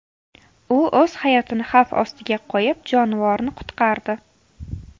U o‘z hayotini xavf ostiga qo‘yib, jonivorni qutqardi.